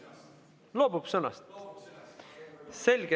Kas loobute sõnavõtust?